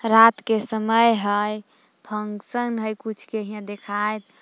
रात के समय हइ फंक्शन हइ कुछ के यहां देखायत--